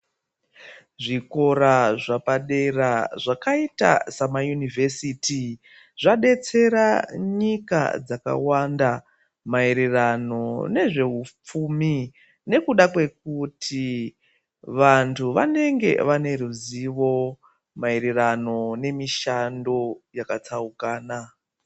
Zvikora zvapadera zvakaita samayuniversity zvadetsera nyika dzakawanda maererano nezvehupfumi nekuda kwekuti vantu vanenge vaineruzivo maererano ngemishando yakatsaukana.